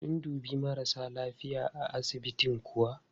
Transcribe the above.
Sun dubi marasa lafiya a asibitin kuwa?